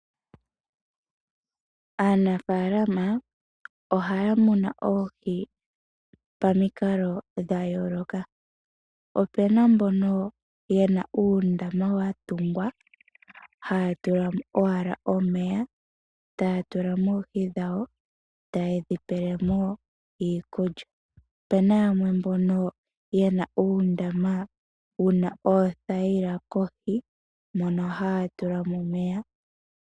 Aanafalama ohaya kunu oohi pamukalo dha yooloka. Opena mbono yena uundama watungwa haya tulamo owala omeya taya tulamo oohi dhawo, eta yedhi pelemo iikulya. Po opu na yamwe mbono yena uundama wuna oothayila kohi mono haya tulamo omeya.